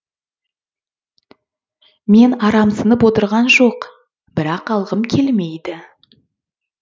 мен арамсынып отырғаным жоқ бірақ алғым келмейді